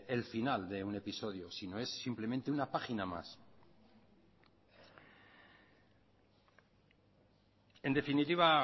el final de un episodio si no es simplemente una página más en definitiva